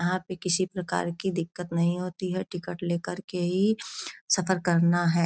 यहाँ पे किसी प्रकार की दिक्कत नही होती हैं। टिकेट लेकर ही सफ़र करना हैं।